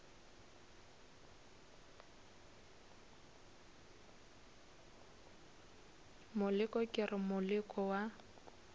moleko ke re moleko wa